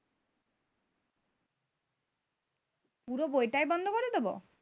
পুরো বইটাই বন্ধ করে দিবো?